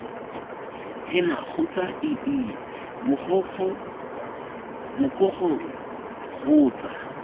ena kgotsa ii mogokgo kgotsa